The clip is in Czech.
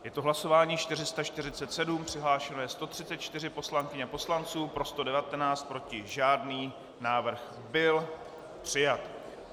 Je to hlasování 447, přihlášeno je 134 poslankyň a poslanců, pro 119, proti žádný, návrh byl přijat.